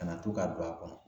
Kana to ka don a kɔnɔ